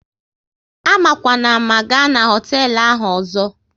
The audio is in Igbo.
Amakwana ámá, ga na hoteelu ahụ ọzọ!